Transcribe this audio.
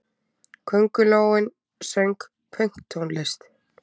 Köngulóin söng pönktónlist!